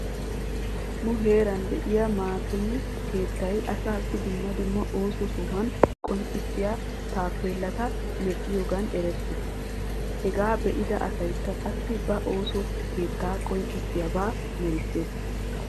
Nu heeran de'iyaa maateme keetay asaassi dumma dumma ooso sohuwa qonccissiya taapeelata medhdhiyoogan erettes. Hegaa be'ida asaykka qassi ba ooso keeta qoncisiyaaba merisses.